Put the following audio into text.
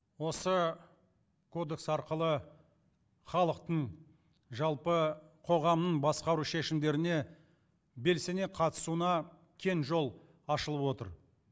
осы кодекс арқылы халықтың жалпы қоғамның басқару шешімдеріне белсене қатысуына кең жол ашылып отыр